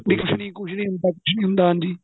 ਵੀ ਕੁੱਝ ਨਹੀਂ ਕੁੱਝ ਕੁੱਝ ਨਹੀਂ ਹੁੰਦਾ ਕੁੱਝ ਨਹੀਂ ਹੁੰਦਾ ਹਾਂਜੀ